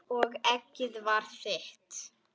Og eggið var þitt!